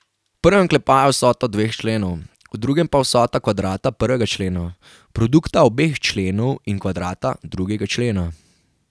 V prvem oklepaju je vsota dveh členov, v drugem pa vsota kvadrata prvega člena, produkta obeh členov in kvadrata drugega člena.